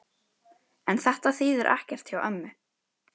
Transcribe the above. En þetta þýðir ekkert hjá ömmu.